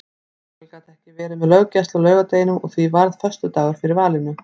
Lögregla gat ekki verið með löggæslu á laugardeginum og því varð föstudagur fyrir valinu.